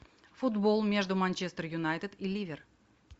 футбол между манчестер юнайтед и ливер